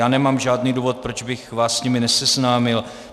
Já nemám žádný důvod, proč bych vás s nimi neseznámil.